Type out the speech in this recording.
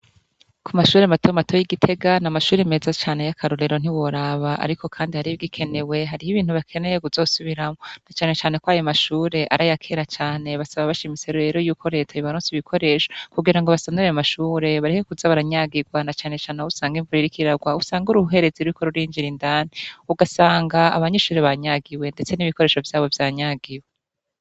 Kumashure matomato yi Gitega ni amashure meza ya karorero ntiworaba ariko Kandi hari ibigikenewe kuzosubiramwo na cane cane Ari ayakera cane ikibutsa ko reta yobaronsa ibikoresho kugira basane ayo mashure bareke kuza baranyagigwa na cane cane Aho usanga imvura iriko irarwa usanga uruhererezi rwinjira indani ugasanga abanyeshure banyagiwe ndetse nibikoresho vyabo vyanyagiwe.